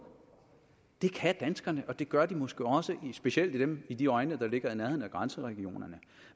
det kan danskerne og det gør de måske også specielt dem i de egne der ligger i nærheden af grænseregionerne